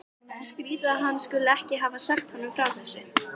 Skrýtið að hann skuli ekki hafa sagt honum frá þessu.